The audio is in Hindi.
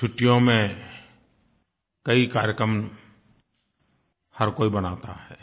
छुट्टियों में कई कार्यक्रम हर कोई बनाता है